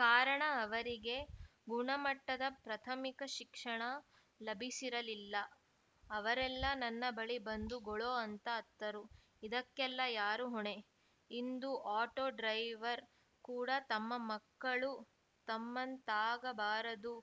ಕಾರಣ ಅವರಿಗೆ ಗುಣಮಟ್ಟದ ಪ್ರಥಮಿಕ ಶಿಕ್ಷಣ ಲಭಿಸಿರಲಿಲ್ಲ ಅವರೆಲ್ಲ ನನ್ನ ಬಳಿ ಬಂದು ಗೊಳೋ ಅಂತ ಅತ್ತರು ಇದಕ್ಕೆಲ್ಲ ಯಾರು ಹೊಣೆ ಇಂದು ಆಟೋ ಡ್ರೈವರ್‌ ಕೂಡಾ ತಮ್ಮ ಮಕ್ಕಳು ತಮ್ಮಂತಾಗಬಾರದು